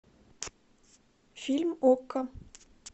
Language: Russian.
фильм окко